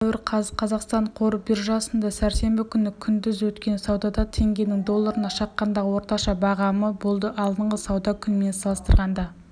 алматы сәуір қаз қазақстан қор биржасында сәрсенбі күні күндіз өткен саудада теңгенің долларына шаққандағы орташа бағамы болды алдыңғы сауда күнімен салыстырғанда